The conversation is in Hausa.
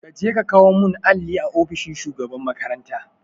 Kaje ka kawo mun alli a ofishin shugaban makaranta